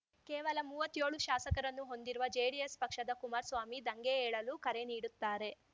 ಕೇವಲ ಮೂವತ್ಯೋಳು ಶಾಸಕರನ್ನು ಹೊಂದಿರುವ ಜೆಡಿಎಸ್‌ ಪಕ್ಷದ ಕುಮಾರಸ್ವಾಮಿ ದಂಗೆ ಏಳಲು ಕರೆ ನೀಡುತ್ತಾರೆ